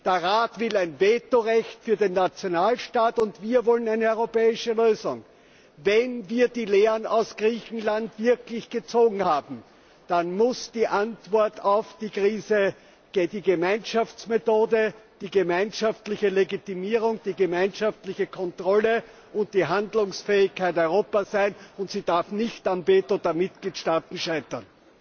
Der Rat will ein Vetorecht für den Nationalstaat, und wir wollen eine europäische Lösung. Wenn wir die Lehren aus Griechenland wirklich gezogen haben, dann muss die Antwort auf die Krise die Gemeinschaftsmethode, die gemeinschaftliche Legitimierung, die gemeinschaftliche Kontrolle und die Handlungsfähigkeit Europas sein, und sie darf nicht am Veto der Mitgliedstaaten scheitern.